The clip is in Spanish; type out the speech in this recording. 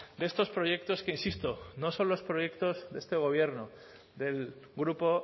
de estos proyectos que insisto no son los proyectos de este gobierno del grupo